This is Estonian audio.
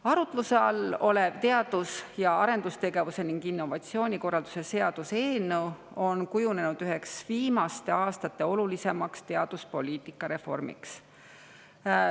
Arutluse all olev teadus- ja arendustegevuse ning innovatsiooni korralduse seaduse eelnõu on kujunenud üheks viimaste aastate olulisimaks teaduspoliitika reformiks.